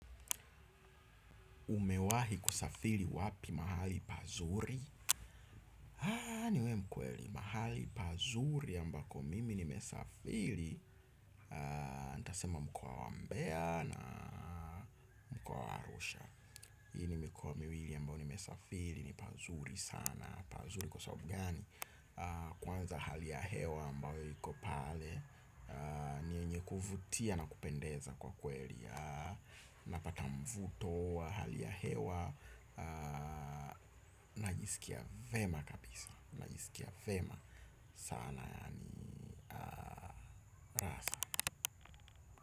Umewahi kusafiri wapi mahali pazuri. Haa niwe mkweli mahali pazuri ambako mimi nimesafiri. Ntasema mkoa wa mbea na mkoa wa Arusha hii ni mikoa miwili ambayo nimesafiri ni pazuri sana. Pazuri kwa sababu gani. Kwanza hali ya hewa ambayo iko pale ni yenye kuvutia na kupendeza kwa kweli. Napata mvuto wa hali ya hewa. Najiskia vema kabisa. Najiskia vema sana yani Rasa.